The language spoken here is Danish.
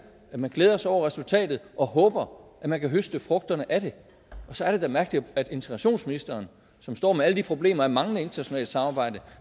man glæder sig over resultatet og håber at man kan høste frugterne af det og så er det da mærkeligt at integrationsministeren som står med alle de problemer af manglende internationalt samarbejde